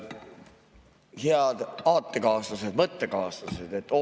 Head aatekaaslased, mõttekaaslased!